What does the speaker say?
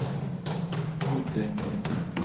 Huddungeby